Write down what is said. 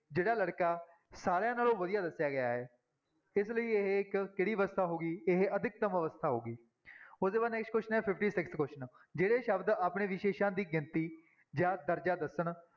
ਜਿਹੜਾ ਲੜਕਾ ਸਾਰਿਆਂ ਨਾਲੋਂ ਵਧੀਆ ਦੱਸਿਆ ਗਿਆ ਹੈ, ਇਸ ਲਈ ਇਹ ਇੱਕ ਕਿਹੜੀ ਅਵਸਥਾ ਹੋ ਗਈ, ਇਹ ਅਧਿਕਤਮ ਅਵਸਥਾ ਹੋ ਗਈ, ਉਹਦੇ ਬਾਅਦ next question ਹੈ fifty-sixth question ਜਿਹੜੇ ਸ਼ਬਦ ਆਪਣੇ ਵਿਸ਼ੇਸ਼ਾ ਦੀ ਗਿਣਤੀ ਜਾਂ ਦਰਜ਼ਾ ਦੱਸਣ